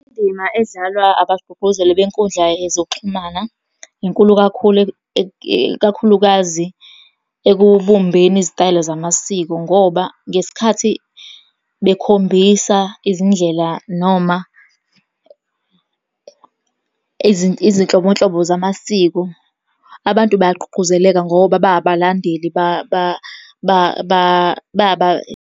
Indima edlalwa abagqugquzeli benkundla yezokuxhumana inkulu kakhulu , ikakhulukazi ekubumbeni izitayela zamasiko, ngoba ngesikhathi bekhombisa izindlela noma izinhlobonhlobo zamasiko. Abantu bayagqugquzeleka ngoba bayabalandeli .